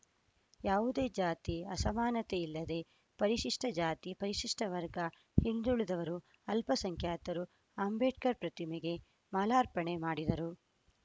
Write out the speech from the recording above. ಯಾವುದೇ ಜಾತಿ ಅಸಮಾನತೆಯಿಲ್ಲದೆ ಪರಿಶಿಷ್ಟಜಾತಿ ಪರಿಶಿಷ್ಟವರ್ಗ ಹಿಂದುಳಿದವರು ಅಲ್ಪಸಂಖ್ಯಾತರು ಅಂಬೇಡ್ಕರ್‌ ಪ್ರತಿಮೆಗೆ ಮಾಲಾರ್ಪಣೆ ಮಾಡಿದರು